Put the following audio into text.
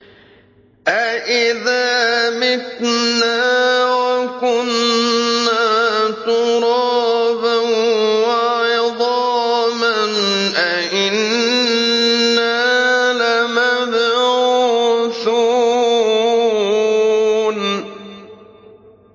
أَإِذَا مِتْنَا وَكُنَّا تُرَابًا وَعِظَامًا أَإِنَّا لَمَبْعُوثُونَ